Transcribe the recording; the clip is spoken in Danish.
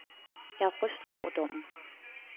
Jeg er rystet over dommen.